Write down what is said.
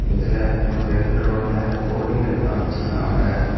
இதுல ஒர் ரெண்டு ரோல்ல கோழிகள் எல்லா வச்சியிருக்காங்க.